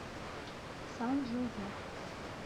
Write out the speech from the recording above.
сан жозе